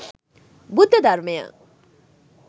බුද්ධ ධර්මය